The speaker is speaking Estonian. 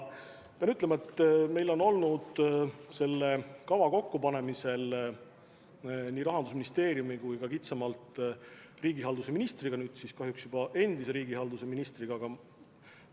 Pean ütlema, et meil on olnud selle kava kokkupanemisel nii Rahandusministeeriumi kui ka kitsamalt riigihalduse ministriga – nüüd kahjuks juba endise riigihalduse ministriga – hea koostöö.